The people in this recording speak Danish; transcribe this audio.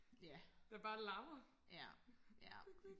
der bare larmer